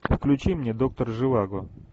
включи мне доктор живаго